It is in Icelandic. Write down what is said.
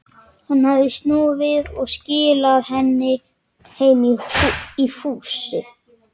Hann hafði snúið við og skilað henni heim í fússi.